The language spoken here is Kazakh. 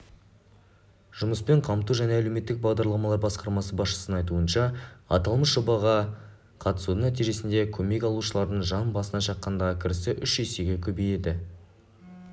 жұмыспен қамту және әлеуметтік бағдарламалар басқармасы басшысының айтуынша аталмыш жобаға қатысудың нәтижесінде көмек алушылардың жан басына шаққандағы кірісі үш есеге көбейді